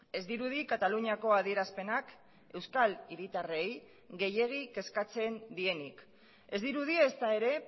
ez dirudi kataluniako adierazpenak euskal hiritarrei gehiegi kezkatzen dienik ez dirudi ezta ere